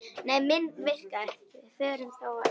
Við förum þá á EM.